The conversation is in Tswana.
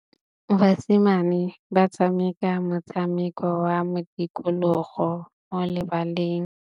Basimane ba tshameka motshameko wa modikologô mo lebaleng.